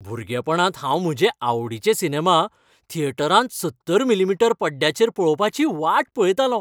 भुरगेपणांत हांव म्हजे आवडीचे सिनेमा थियेटरांत सत्तर मी.मी. पड्ड्याचेर पळोवपाची वाट पळयतालों.